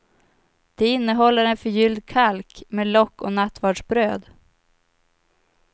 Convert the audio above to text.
Det innehåller en förgylld kalk med lock och nattvardsbröd.